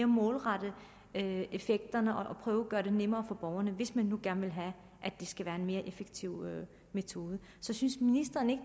målrette effekterne og prøve at gøre det nemmere for borgerne hvis man nu gerne vil have at det skal være en mere effektiv metode så synes ministeren ikke